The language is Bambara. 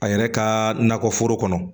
A yɛrɛ ka nakɔ foro kɔnɔ